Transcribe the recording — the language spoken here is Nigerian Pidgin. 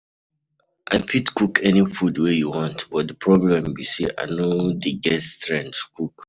I fit cook any food wey you want but the problem be say I no dey get strength cook.